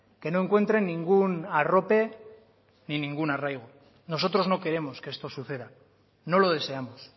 que no encuentren ningún arrope ni ningún arraigo nosotros no queremos que esto suceda no lo deseamos